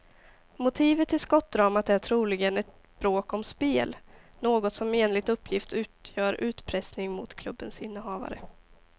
Motivet till skottdramat är troligen ett bråk om spel, något som enligt uppgift utgör utpressning mot klubbens innehavare.